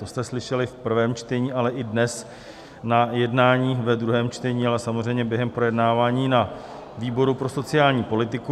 To jste slyšeli v prvém čtení, ale i dnes na jednání ve druhém čtení, ale samozřejmě během projednávání na výboru pro sociální politiku.